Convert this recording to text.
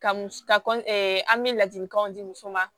Ka muso ka an bɛ ladilikanw di muso ma